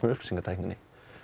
upplýsingatækni